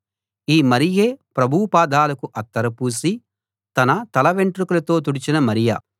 ఈ మరియే ప్రభువు పాదాలకు అత్తరు పూసి తన తల వెంట్రుకలతో తుడిచిన మరియ